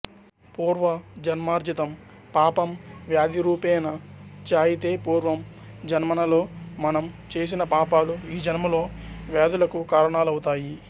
పూర్వ జన్మార్జితం పాపం వ్యాధిరూపేణ జాయితే పూర్వ జన్మనలో మనం చేసిన పాపాలు ఈ జన్మలో వ్యాధులకు కారణాలవుతాయి